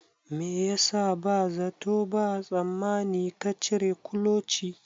Me yasa ba zato ba tsammani ka cire kuloci